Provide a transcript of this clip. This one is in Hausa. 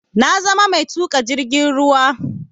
Na zama mai tuƙa jirgin ruwa